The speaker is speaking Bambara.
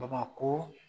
Babako